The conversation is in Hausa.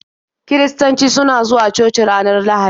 Kiristoci suna zuwa coci ranar lahadi